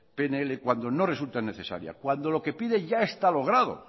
pnl cuando no resulta necesaria cuando lo que pide ya está logrado